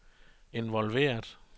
involveret